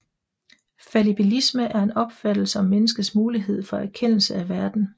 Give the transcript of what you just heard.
Fallibilisme er en opfattelse om menneskets mulighed for erkendelse af verden